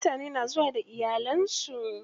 Mutane na zuwa da iyalan su.